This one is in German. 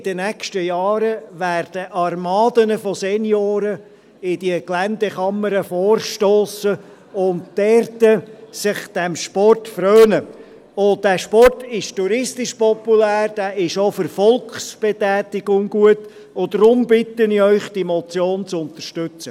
In den nächsten Jahren werden Armadas von Senioren in diese Geländekammern vorstossen und dort diesem Sport frönen Dieser Sport ist touristisch populär, er ist auch für die Volksbetätigung gut, und darum bitte ich Sie, diese Motion zu unterstützen.